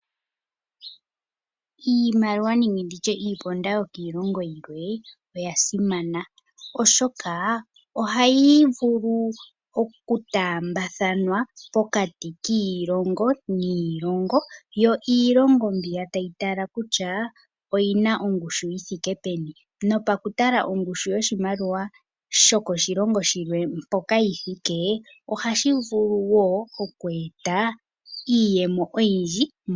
Iimaliwa nenge ndi tye iiponda yokiilongo yimwe oya simana, oshoka ohayi vulu okutaambathanwa pokati kiilongo niilongo. Yo iilongo mbiya tayi tala kutya oyi na ongushu yi thike peni nopa ku tala ongushu yoshimaliwa shokoshilongo shilwe mpoka yi thike, ohashi vulu wo oku eta iiyemo oyindji moshilongo.